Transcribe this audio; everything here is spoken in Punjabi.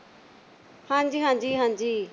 ਹਾਂਜੀ ਹਾਂਜੀ ਹਾਂਜੀ।